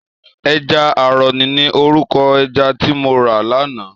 Èjà àrò ni órúkò èjà ti mó rá làná